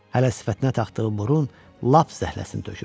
Hələ sifətinə taxdığı burun lap zəhləsini tökürdü.